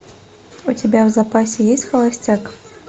у тебя в запасе есть холостяк